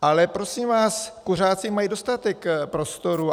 Ale prosím vás, kuřáci mají dostatek prostoru.